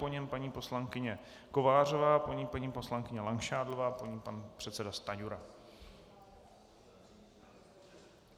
Po něm paní poslankyně Kovářová, po ní paní poslankyně Langšádlová, po ní pan předseda Stanjura.